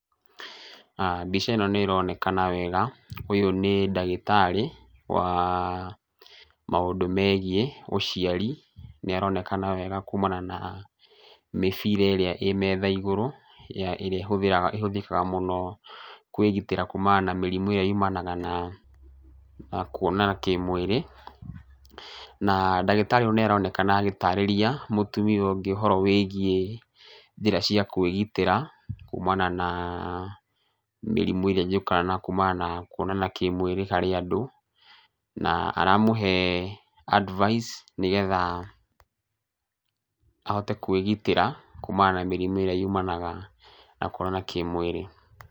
Mbica ĩno nĩronekana wega, ũyũ nĩ ndagĩtarĩ wa, maũndũ megiĩ ũciari, nĩaronekana wega kũmana na mĩbira ĩrĩa ĩ metha igũrũ ĩrĩa ĩhũthĩraga ĩhũthĩkaga mũno kũmana na kwĩgitĩra kumana na mĩrimũ ĩrĩa yumanaga na, kũonana kĩmwĩrĩ, na ndagĩtarĩ ũyũ nĩaronekana agĩtarĩria mũtumia ũngĩ ũhoro wĩgiĩ njĩra cia kwĩgitĩra kumana na mĩrimũ ĩrĩa yũkaga kumana na kũonana kĩmwĩrĩ harĩ andũ, na aramũhe advice nĩgetha, ahote kwĩgitĩra, kumana na mĩrimũ ĩrĩa yumanaga na kũonana kĩmwĩrĩ.